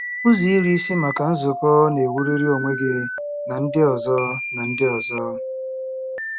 Uzo Iri ISI MAKA Nzuko na-ewuliri onwe gi na ndi ozo na ndi ozo